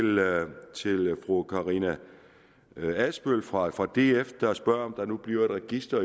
fru karina adsbøl fra fra df der spørger om der nu bliver et register